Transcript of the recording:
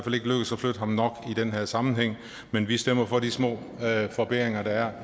flytte ham nok i den her sammenhæng men vi stemmer for de små forbedringer der er